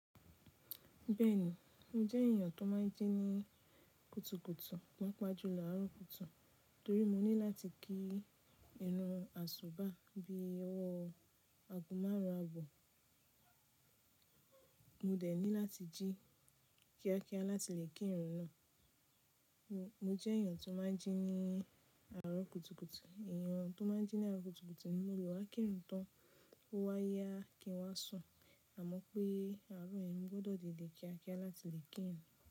Bẹ́ẹ̀ni, mo jẹ́ èèyàn tó máa ń jí ní kùtùkùtù, pàápàá jùlọ àárọ̀ kùtùkùtù torí mo ní láti kí irun àsùbáà bí i ọwọ́ọ àgo márun abọ́. Mo dẹ̀ ní láti jí kíákíá láti lè kí irun náà. Mo jẹ́ èèyàn tó máa ń jí ní àárọ̀ kùtùkùtù, èèyàn tó máa ń jí ní àárọ̀ kùtùkùtù ni mo lè wá kírun tán, ó wá yá kí n wá sùn, àmọ́ pé àárọ̀ yẹ̀n mo gbọ́dọ̀ didè kíákíá láti lè kí irun.